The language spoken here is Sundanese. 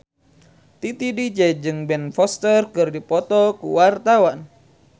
Titi DJ jeung Ben Foster keur dipoto ku wartawan